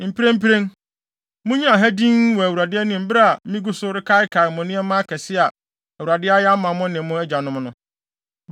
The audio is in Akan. Mprempren, munnyina ha dinn wɔ Awurade anim bere a migu so rekaakae mo nneɛma akɛse a Awurade ayɛ ama mo ne mo agyanom no.